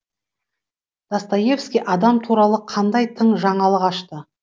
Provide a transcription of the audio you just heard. достоевский адам туралы қандай тың жаңалық ашты